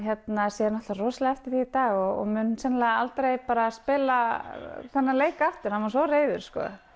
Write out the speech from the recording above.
sér náttúrulega rosalega eftir því í dag og mun sennilega aldrei spila þennan leik aftur hann var svo reiður